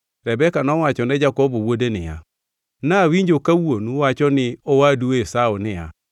Rebeka nowacho ne Jakobo wuode niya, “Nawinjo ka wuonu wacho ni owadu Esau niya,